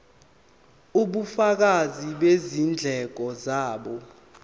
ubufakazi bezindleko zabo